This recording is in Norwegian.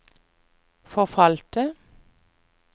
forfalte